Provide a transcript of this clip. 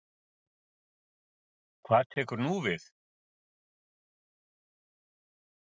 Gísli Óskarsson: Hvað tekur nú við?